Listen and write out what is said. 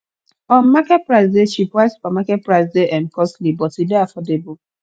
um market price dey cheap while supermarket price de um costly but e de affordable